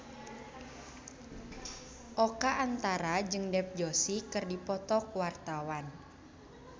Oka Antara jeung Dev Joshi keur dipoto ku wartawan